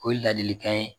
O ye ladilikan ye